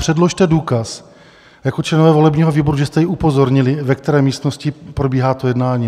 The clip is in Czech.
Předložte důkaz jako členové volebního výboru, že jste ji upozornili, ve které místnosti probíhá to jednání.